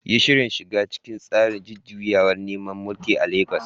Yi Shirin shiga cikin tsarin jujjuyawar neman mulki a legas